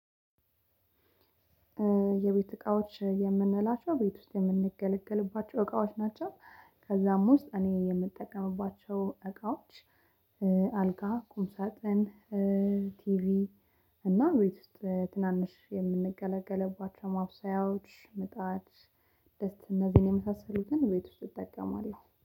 የቤት እቃዎች የምንላቸው ቤት ውስጥ የምንገለገልባቸው እቃዎች ናቸው። ከዛም ውስጥ እኔ የምጠቀምባቸው እቃዎች አ አልጋ ቁምሳጥን ቲቪ እና ቤት ውስጥ ትናንሽ የምንገለገልባቸው ማብሰያዎች ምጣድ ድስት እነዚህን የመሳሰሉትን ቤት ውስጥ እጠቀማለሁ